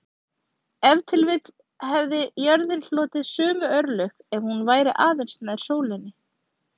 Ef til vill hefði jörðin hlotið sömu örlög ef hún væri aðeins nær sólinni.